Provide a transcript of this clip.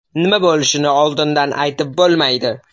Nima bo‘lishini oldindan aytib bo‘lmaydi.